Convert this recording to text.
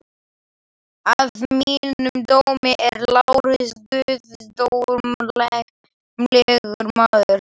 Að mínum dómi er Lárus guðdómlegur maður.